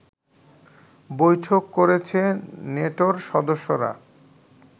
বৈঠক করেছে নেটোর সদস্যরা